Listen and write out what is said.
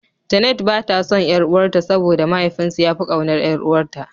Janet bata son ƴar'uwar ta saboda mahaifin su yafi ƙaunar ƴar'uwar akanta.